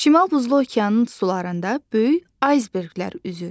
Şimal Buzlu okeanın sularında böyük aysberqlər üzür.